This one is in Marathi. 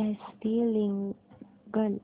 S V legal